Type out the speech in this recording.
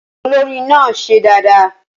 Olórin náà ṣe dáadáa